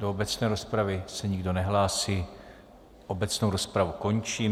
Do obecné rozpravy se nikdo nehlásí, obecnou rozpravu končím.